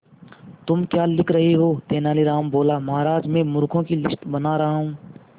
तुम क्या लिख रहे हो तेनालीराम बोला महाराज में मूर्खों की लिस्ट बना रहा हूं